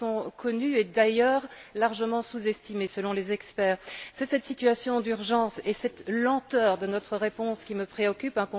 Ils sont connus et d'ailleurs largement sous estimés, selon les experts. C'est cette situation d'urgence et cette lenteur de notre réponse qui me préoccupent.